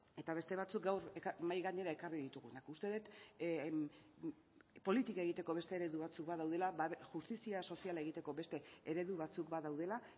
eta beste batzuk gaur mahai gainera ekarri ditugunak uste dut politika egiteko beste eredu batzuk badaudela justizia soziala egiteko beste eredu batzuk badaudela